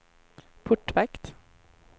portvakt